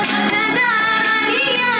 Pədər Əli, Əli!